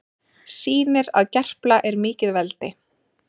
Sýnir að Gerpla er mikið veldi